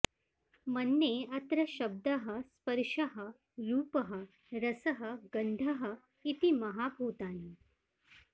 मन्ये अत्र शब्दः स्पर्शः रूपः रसः गन्धः इति महाभूतानि